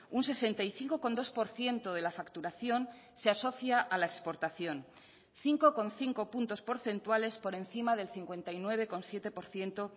un sesenta y cinco coma dos por ciento de la facturación se asocia a la exportación cinco coma cinco puntos porcentuales por encima del cincuenta y nueve coma siete por ciento